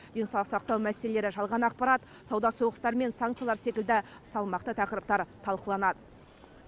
денсаулық сақтау мәселелері жалған ақпарат сауда соғыстары мен санкциялар секілді салмақты тақырыптар талқыланады